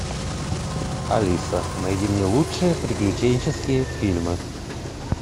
алиса найди мне лучшие приключенческие фильмы